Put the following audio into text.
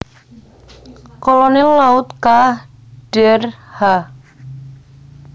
Kolonel Laut K dr H